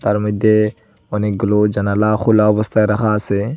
তার মইদ্যে অনেকগুলো জানালা খোলা অবস্থায় রাখা আসে।